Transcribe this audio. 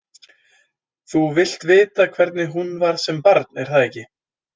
Þú vilt vita hvernig hún var sem barn, er það ekki?